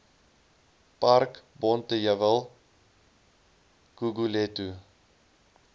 park bonteheuwel guguletu